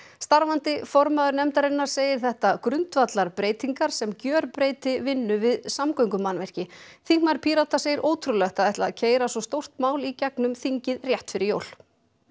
starfandi formaður nefndarinnar segir þetta grundvallarbreytingar sem gjörbreyti vinnu við samgöngumannvirki þingmaður Pírata segir ótrúlegt að ætla að keyra svo stórt mál í gegnum þingið rétt fyrir jól